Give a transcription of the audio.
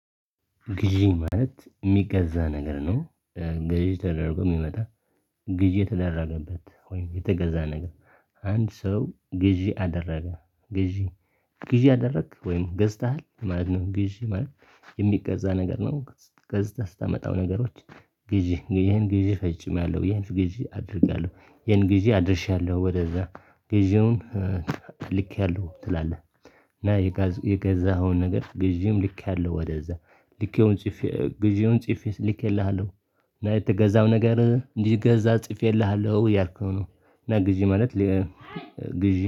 ግዢ ማለት የሚገዛ ነገር ነው። ግዢ ተደርጎ የሚመጣ ግዢ የተደረገበት ወይም የተገዛ ነገር። አንድ ሰው ግዢ አደረገ ግዢ ግዢ አደረግክ ወይም ገዝተሃል ማለት ነው። ግዢ ማለት የሚገዛ ነገር ነው። ገዝተህ ስታመጣው ነገሮች ግዢ ግዢህን ጊዜ ፈፅሜያለው ይሄን ግዢ አድርግያለሁ ይሄን ግዢ አድርሻለሁ ወደዛ ግዢውን ልኬያለው ትላለህ። እና የገዛኸውን ነገር ግዢም ልኬያለሁ ወደዛ ልኬውን ጽፌ ግዢውን ጽፌ ልኬልሃለሁ እና የተገዛው ነገር እንዲገዛ ጽፌልሃለሁ ያልከው ነው። እና ግዢ ማለት ግዢ